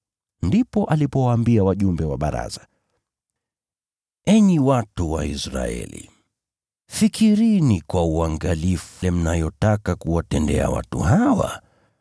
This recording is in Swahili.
Ndipo alipowaambia wajumbe wa baraza, “Enyi watu wa Israeli, fikirini kwa uangalifu mnayotaka kuwatendea watu hawa.